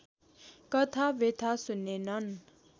कथा व्यथा सुनेनन्